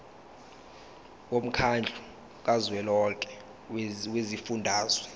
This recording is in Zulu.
womkhandlu kazwelonke wezifundazwe